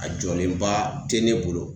A jɔlenba te ne bolo